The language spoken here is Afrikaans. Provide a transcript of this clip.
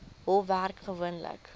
hof werk gewoonlik